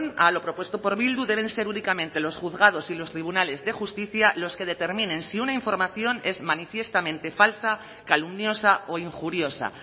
a lo propuesto por bildu deben ser únicamente los juzgados y los tribunales de justicia los que determinen si una información es manifiestamente falsa calumniosa o injuriosa